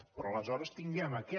però aleshores tinguem aquest